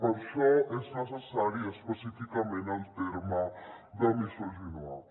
per això és necessari específicament el terme de misogynoir